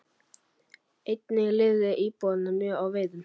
Einnig lifðu íbúarnir mjög á veiðum.